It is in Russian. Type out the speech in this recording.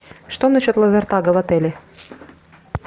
что на счет лазертага в отеле